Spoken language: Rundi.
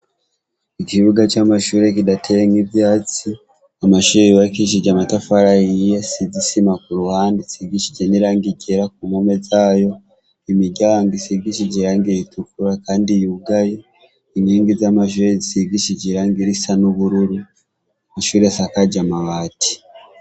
Ikibuga c'amashure kidateyemwo ivyatsi, amashure yubakishije amatafari ahiye asize isima kuruhande asigishije n'irangi ryera kumpome imiryango isigishije irangi ritukura kandi yugaye inkingi z'amashure zisigishije irangi risa n'ubururu ishure risakaje amabati.